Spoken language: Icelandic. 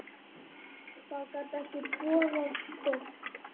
Það gat ekki boðað gott.